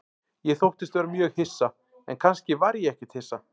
Ég þóttist vera mjög hissa, en kannski var ég ekkert hissa.